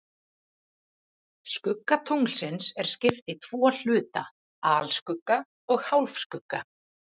Skugga tunglsins er skipt í tvo hluta, alskugga og hálfskugga.